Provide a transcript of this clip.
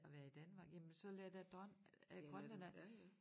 At være i Danmark jamen så lad da drøn øh grønlændere